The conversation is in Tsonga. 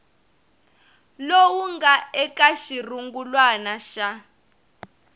lowu nga eka xirungulwana xa